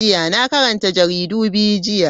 Na karanta jaridu biyu jiya.